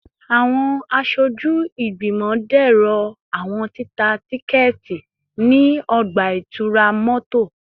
Awọn aṣoju igbimọ dẹrọ awọn tita tikẹti ni ọgba-itura mọto